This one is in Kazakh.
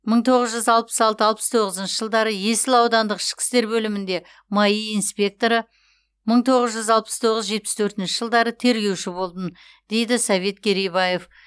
мың тоғыз жүз алпыс алты алпыс тоғызыншы жылдары есіл аудандық ішкі істер бөлімінде маи инспекторы мың тоғыз жүз алпыс тоғыз жетпіс төртінші жылдары тергеуші болдым дейді совет керейбаев